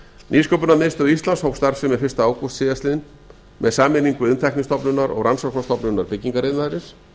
nýsköpunarmiðstöð íslands hóf starfsemi fyrsta ágúst síðastliðnum með sameiningu iðntæknistofnunar og rannsóknastofnunar byggingariðnaðarins